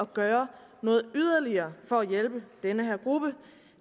gøre noget yderligere for at hjælpe den her gruppe